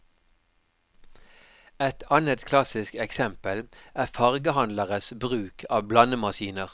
Et annet klassisk eksempel er fargehandleres bruk av blandemaskiner.